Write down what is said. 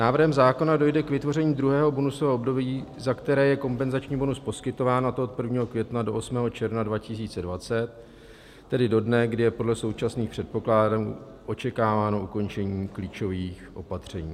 Návrhem zákona dojde k vytvoření druhého bonusového období, za které je kompenzační bonus poskytován, a to od 1. května do 8. června 2020, tedy do dne, kdy je podle současných předpokladů očekáváno ukončení klíčových opatření.